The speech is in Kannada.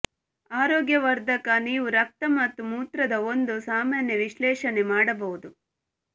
ಆರೋಗ್ಯವರ್ಧಕ ನೀವು ರಕ್ತ ಮತ್ತು ಮೂತ್ರದ ಒಂದು ಸಾಮಾನ್ಯ ವಿಶ್ಲೇಷಣೆ ಮಾಡಬಹುದು